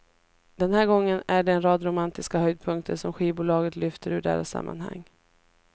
Den här gången är det en rad romantiska höjdpunkter som skivbolaget lyfter ur deras sammanhang.